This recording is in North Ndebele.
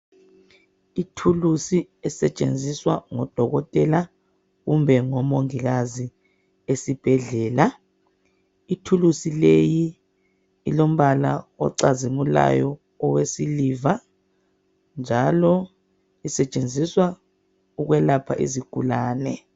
Ithulusi esetshenziswa ngodokotela kumbe ngomongikazi esibhedlela, ithulusi leyi ilombala ocazimulayo owesiliva njalo usetshenziswa ukwelapha izigulane.